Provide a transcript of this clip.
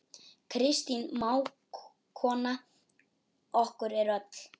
Kristín mágkona okkar er öll.